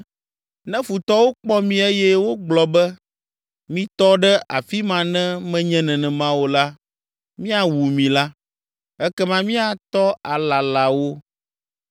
ne futɔwo kpɔ mí eye wogblɔ be, ‘Mitɔ ɖe afi ma ne menye nenema o la, míawu mi’ la, ekema míatɔ alala wo.